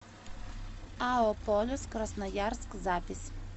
ао полюс красноярск запись